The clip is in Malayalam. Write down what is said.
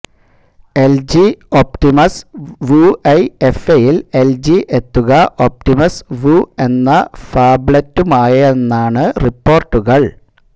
എല്ജി ഓപ്റ്റിമസ് വുഐഎഫ്എയില് എല്ജി എത്തുക ഓപ്റ്റിമസ് വു എന്ന ഫാബ്ലറ്റുമായാണെന്നാണ് റിപ്പോര്ട്ടുകള്